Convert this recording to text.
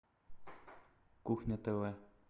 кухня тв